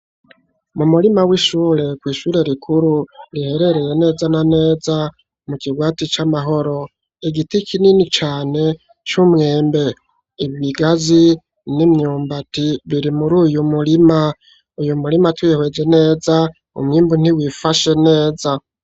Mu murima w'ishure kw'ishure rikuru riherereye neza na neza mu kigwati c'amahoro igiti kinini cane c'umwembe, ibigazi , n'imyumbati biri muri uyu murima, uyu murima twihweje neza umwimbu ntiwifashe neza.